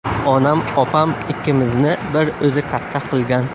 Onam opam ikkimizni bir o‘zi katta qilgan.